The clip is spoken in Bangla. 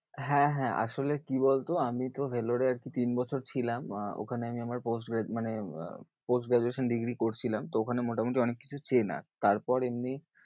হ্যাঁ হ্যাঁ আসলে কি বলতো আমি তো Vellore এ আর কি তিন বছর ছিলাম আহ ওখানে আমি আমার মানে আহ course graduation degree করছিলাম। তো ওখানে মোটামুটি অনেক কিছু চেনা তারপর এমনি